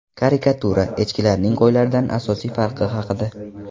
Karikatura: Echkilarning qo‘ylardan asosiy farqi haqida.